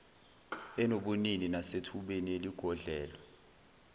enobunini nasethubeni eligodlelwe